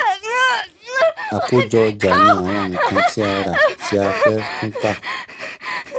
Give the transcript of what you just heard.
Àkójọ ọjà ní àwọn nǹkan tí a rà tí a fẹ́ tún tà.